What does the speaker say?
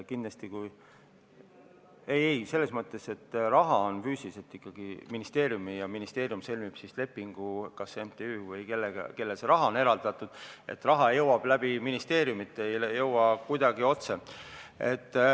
Ei-ei, selles mõttes, et raha on füüsiliselt ikkagi ministeeriumil ja ministeerium sõlmib lepingu kas MTÜ-ga või sellega, kellele see raha on eraldatud, raha jõuab sinna ministeeriumi kaudu, see ei jõua sinna kuidagi otse.